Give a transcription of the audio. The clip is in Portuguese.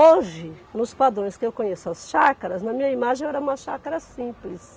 Hoje, nos padrões que eu conheço as chácaras, na minha imagem era uma chácara simples.